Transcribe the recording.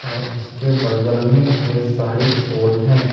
और उसके बगल में ढेर सारी पोल हैं।